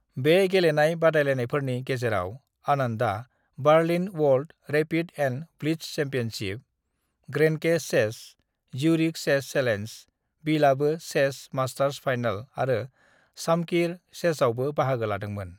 "बे गेलेनाय बादायनायफोरनि गेजेराव, आनंदआ Berlin world rapid and blitz championship, Grenke chess, Zurich chess challenge, Bilbao chess masters final आरो शामकिर चेसआवबो बाहागो लादोंमोन।"